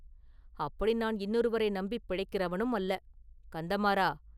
அப்படி நான் இன்னொருவரை நம்பிப் பிழைக்கிறவனும் அல்ல, கந்தமாறா!